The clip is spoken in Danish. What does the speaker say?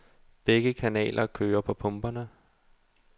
Begge kanaler kører på pumperne.